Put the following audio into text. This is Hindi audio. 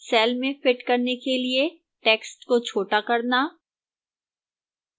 cell में fit करने के लिए text को छोटा करना